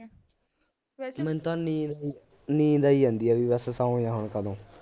ਮੈਨੂੰ ਤਾਂ ਨੀਂਦ ਆਈ ਨੀਂਦ ਆਈ ਜਾਂਦੀ ਏ ਬਈ ਬੱਸ ਸੌ ਜਾ ਹੁਣ ਕਦੋਂ